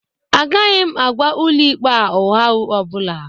Agaghị m agwa Ụlọikpe a ụgha ọ bụla